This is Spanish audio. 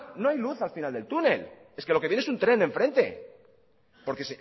no hay luz al final del túnel es que lo que viene es un tren en frente porque